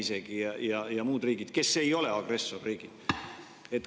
Isegi Valgevene ja muud riigid ei ole agressorriigiks.